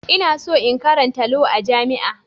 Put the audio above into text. Ina so in karanta Law a jami'a.